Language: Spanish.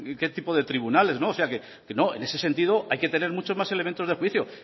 que tipo de tribunales en ese sentido hay que tener muchos más elementos de juicio